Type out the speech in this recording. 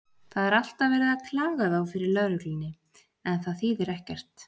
Það er alltaf verið að klaga þá fyrir lögreglunni, en það þýðir ekkert.